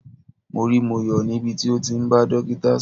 Mo rí Moyo níbi tí ó ti ń bá dókítà sọ̀rọ̀.